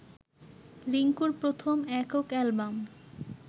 রিংকুর প্রথম একক অ্যালবাম